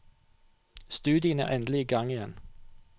Studiene er endelig i gang igjen.